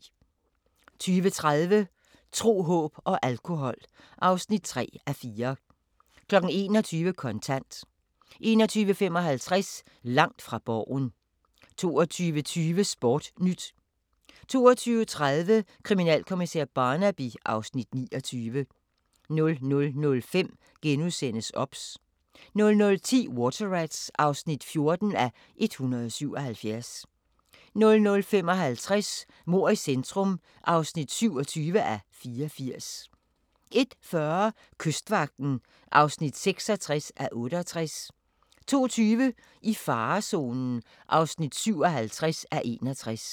20:30: Tro, håb og alkohol (3:4) 21:00: Kontant 21:55: Langt fra Borgen 22:20: Sportnyt 22:30: Kriminalkommissær Barnaby (Afs. 29) 00:05: OBS * 00:10: Water Rats (14:177) 00:55: Mord i centrum (27:84) 01:40: Kystvagten (66:68) 02:20: I farezonen (57:61)